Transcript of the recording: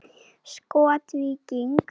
Skot: Víking.